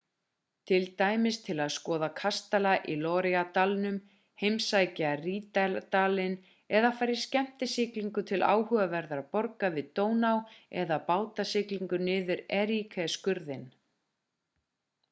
til dæmis til að skoða kastala í loire-dalnum heimsækja rínardalinn eða fara í skemmtisiglingu til áhugaverðra borga við dóná eða bátasiglingu niður erie-skurðinn